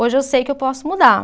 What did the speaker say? Hoje eu sei que eu posso mudar.